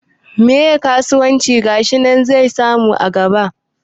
Me kasuwancin gashi zai samu a nan gaba?